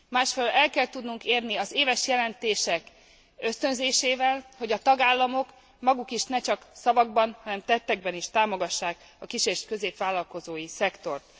Másfelől el kell tudnunk érni az éves jelentések ösztönzésével, hogy a tagállamok maguk is ne csak szavakban, hanem tettekben is támogassák a kis és középvállalkozói szektort.